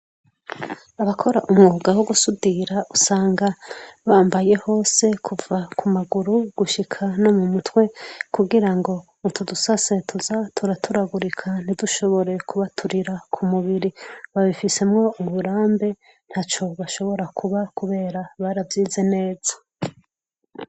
Abakora umwuga wo gusudira usanga bambaye hose kuva ku maguru gushika no mu mutwe, kugira ngo utu dusase tuza turaturagurika ntidushobore kubaturira ku mubiri, babifisemwo uburambe ntaco bashobora kuba kubera baravyize neza.